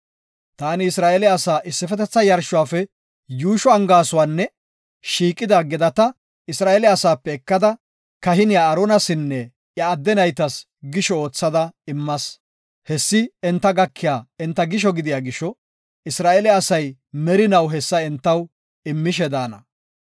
Taani Isra7eele asaa issifetetha yarshuwafe yuusho angaasuwan shiiqida gedaa Isra7eele asaape ekada, kahiniya Aaronasinne iya adde naytas gisho oothada immas. Hessi enta gakiya enta gisho gidiya gisho Isra7eele asay merinaw hessa entaw immishe daana.